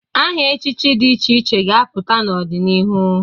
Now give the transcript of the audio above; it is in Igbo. Aha echichi dị iche iche ga-apụta n'ọdịnihu.